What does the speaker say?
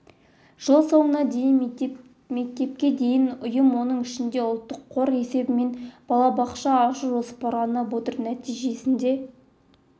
жыл соңына дейін мектепке дейінгі ұйым оның ішінде ұлттық қор есебінен балабақша ашу жоспарланып отыр нәтижесінде